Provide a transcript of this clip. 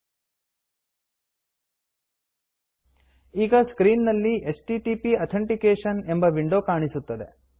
ಈಗ ಸ್ಕ್ರೀನ್ ನಲ್ಲಿ HTTP authentication H T T P authentication ಎಂಬ ವಿಂಡೋ ಕಾಣಿಸುತ್ತದೆ